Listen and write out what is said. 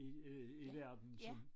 I øh i verden som